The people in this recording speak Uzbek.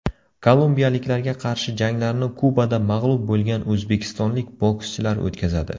Kolumbiyaliklarga qarshi janglarni Kubada mag‘lub bo‘lgan o‘zbekistonlik bokschilar o‘tkazadi.